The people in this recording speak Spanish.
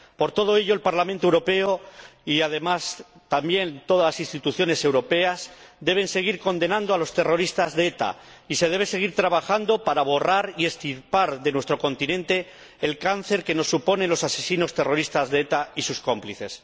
Por todo ello, el Parlamento Europeo y también todas las instituciones europeas deben seguir condenando a los terroristas de ETA, y se debe seguir trabajando para borrar y extirpar de nuestro continente el cáncer que nos suponen los asesinos terroristas de ETA y sus cómplices.